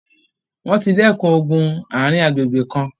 wọ́n ti dẹkùn ogun ààrin agbègbè kan.